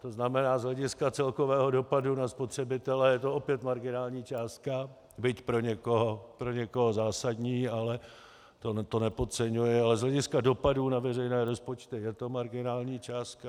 To znamená, z hlediska celkového dopadu na spotřebitele je to opět marginální částka, byť pro někoho zásadní, ale to nepodceňuji, ale z hlediska dopadů na veřejné rozpočty je to marginální částka.